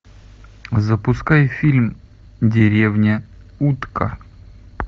запускай фильм деревня утка